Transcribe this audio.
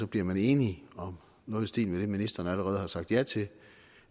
bliver enige om noget i stil med det ministeren allerede har sagt ja til